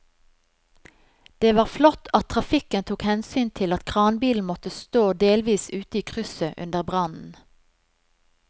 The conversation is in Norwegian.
Det var flott at trafikken tok hensyn til at kranbilen måtte stå delvis ute i krysset under brannen.